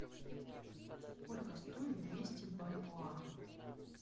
сколько стоит двести бальбоа